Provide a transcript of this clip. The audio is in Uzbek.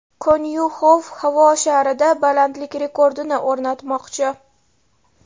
Konyuxov havo sharida balandlik rekordini o‘rnatmoqchi.